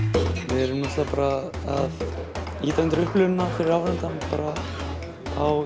við erum náttúrulega bara að ýta undir upplifunina fyrir áhorfandann bara á